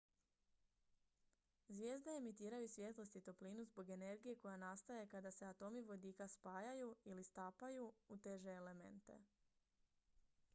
zvijezde emitiraju svjetlost i toplinu zbog energije koja nastaje kada se atomi vodika spajaju ili stapaju u teže elemente